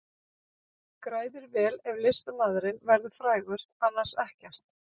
Græðir vel ef listamaðurinn verður frægur, annars ekkert.